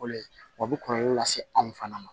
Fɔlɔ ye o bi kɔlɔlɔ lase anw fana ma